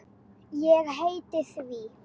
Ég heiti því.